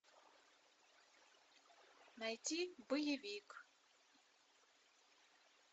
найти боевик